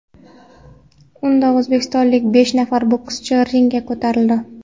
Unda o‘zbekistonlik besh nafar bokschi ringga ko‘tarildi.